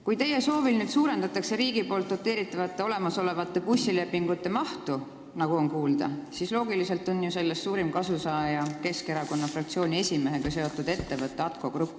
Kui teie soovil nüüd suurendatakse olemasolevate riigi doteeritavate bussilepingute mahtu, nagu on kuulda, siis loogiliselt on ju sellest suurim kasusaaja Keskerakonna fraktsiooni esimehega seotud ettevõte ATKO Grupp.